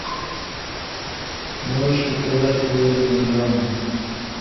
можешь показать военную драму